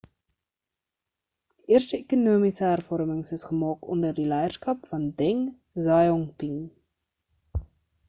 die eerste ekonomiese hervormings is gemaak onder die leierskap van deng xiaoping